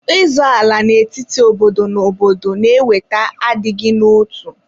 Ịzọ ala n'etiti obodo na obodo na-eweta adịghị n'otu.